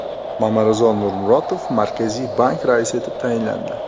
Mamarizo Nurmurotov Markaziy bank raisi etib tayinlandi.